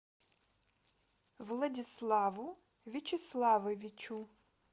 владиславу вячеславовичу